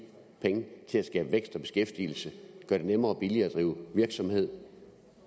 penge til at skabe vækst og beskæftigelse gøre det nemmere og billigere at drive virksomhed